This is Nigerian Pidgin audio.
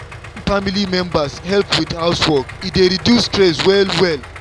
wen family members help with housework e dey reduce stress well well.